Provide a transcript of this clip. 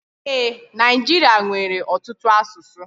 E, Naijiria nwere ọtụtụ asụsụ.